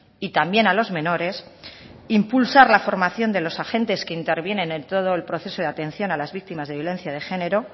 y también a los menores impulsar la formación de los agentes que intervienen en todo el proceso de atención a las víctimas de violencia de género